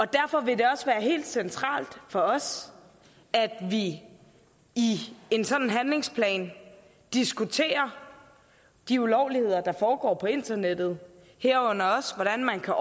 derfor vil det også være helt centralt for os at vi i en sådan handlingsplan diskuterer de ulovligheder der foregår på internettet herunder også hvordan man kan